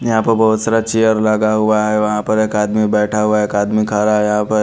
यहाँ पे बहुत सारा चेयर लगा हुआ है वहाँ पर एक आदमी बैठा हुआ है एक आदमी खड़ा है यहाँ पर।